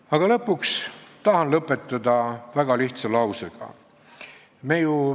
Aga ma tahan lõpetada väga lihtsa lausega.